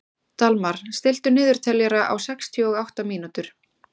Dalmar, stilltu niðurteljara á sextíu og átta mínútur.